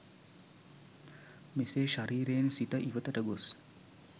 මෙසේ ශරීරයෙන් සිත ඉවතට ගොස්